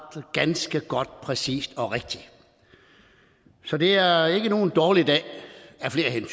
ganske præcist og rigtigt så det er ikke nogen dårlig dag af flere